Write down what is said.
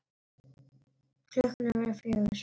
Klukkan var að verða fjögur.